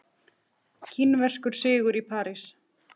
Kínverskur sigur í París